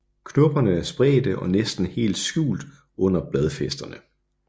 Knopperne er spredte og næsten helt skjult under bladfæsterne